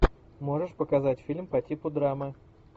можешь показать фильм по типу драмы